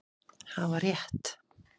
Hafa rétt